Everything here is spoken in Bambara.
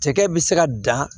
Cɛkɛ bɛ se ka dan